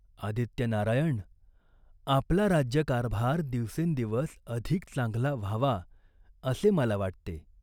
"आदित्यनारायण, आपला राज्यकारभार दिवसेंदिवस अधिक चांगला व्हावा असे मला वाटते.